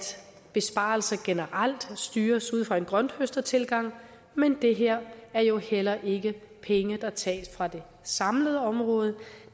besparelser generelt styres ud fra en grønthøstertilgang men det her er jo heller ikke penge der tages fra det samlede område